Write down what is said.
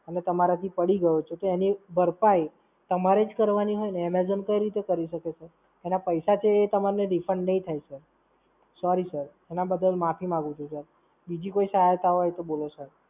અને તમારાથી પડી ગયો છે તો એની ભરપાઈ તમારે જ કરવાની હોય ને. Amazon કઈ રીતે કરી શકે Sir એના પૈસા છે એ તમને Refund નહીં થાય Sir Sorry Sir. એના બદલ માફી માંગુ છું Sir. બીજી કોઈ સહાયતા હોય તો બોલો Sir